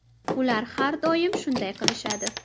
Ular har doim shunday qilishadi!